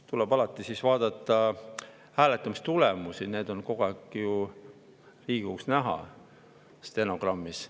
Tuleb alati vaadata hääletamistulemusi, need on ju kogu aeg näha Riigikogu stenogrammis.